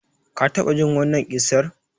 Ka taɓa jin wannan ƙissar?